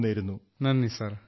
thank you sir